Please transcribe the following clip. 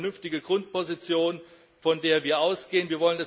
Das ist eine vernünftige Grundposition, von der wir ausgehen.